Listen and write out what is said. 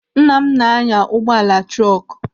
Nna m na-anya ụgbọala trọkụ.